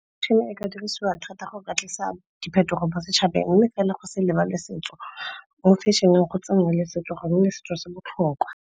e ka dirisiwa thata go ka tlisa diphetogo mo setšhabeng mme fela go se lebale setso. Mo fashion-eng go tsene le setso gonne setso se botlhokwa.